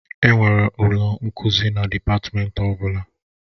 Enwere ụlọ nkuzi na dịpatmenti ọ bụla